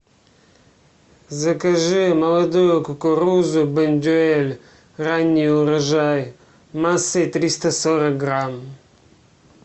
закажи молодую кукурузу бондюэль ранний урожай массой триста сорок грамм